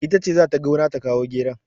Ita ce za ta gona ta kawo geron.